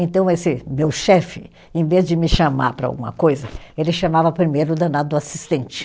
Então esse meu chefe, em vez de me chamar para alguma coisa, ele chamava primeiro o danado do assistente.